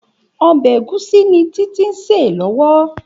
Òbè égúsì ni Titi n sé lòwò